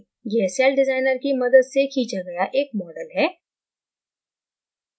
यह celldesigner की मदद से खींचा गया एक model है